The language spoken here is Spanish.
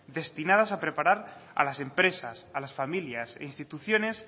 destinadas a preparar a las empresas a las familias e instituciones